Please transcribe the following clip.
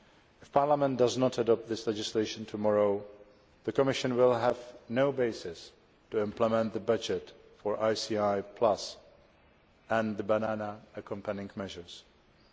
If Parliament does not adopt this legislation tomorrow, the Commission will have no basis to implement the budget for ICI Plus and the Banana Accompanying Measures.